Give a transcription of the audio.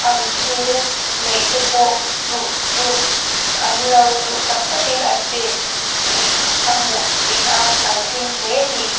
an thil neih te pawh duh duh an lo duhsak takin an pe tih a hmuh theih a an hlim hle ani.